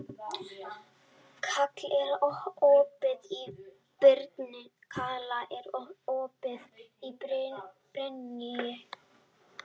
Kala, er opið í Brynju?